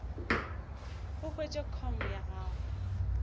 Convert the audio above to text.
o hwetše com ya gago